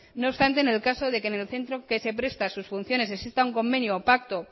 no obstante en el caso de que en el centro que se presta a sus funciones exista un convenio o pacto